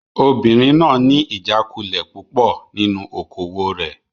Obìnrin náà ní ìjákulẹ̀ púpọ̀ nínú okòwò rẹ̀.